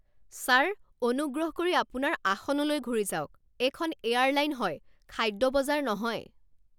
Sir, অনুগ্ৰহ কৰি আপোনাৰ আসনলৈ ঘূৰি যাওক। এইখন এয়াৰলাইন হয়, খাদ্য বজাৰ নহয়!